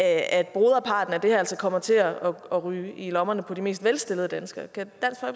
at broderparten af det her altså kommer til at ryge i lommerne på de mest velstillede danskere kan